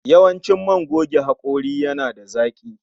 Yawancin man goge hakori yana da zaki